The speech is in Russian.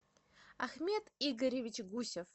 ахмед игоревич гусев